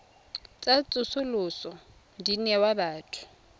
tsa tsosoloso di newa batho